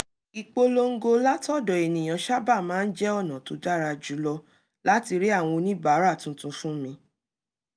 ìpolongo látọ̀dọ̀ ènìyàn sábà máa ń jẹ́ ọ̀nà tó dára jù lọ láti rí àwọn oníbàárà tuntun fún mi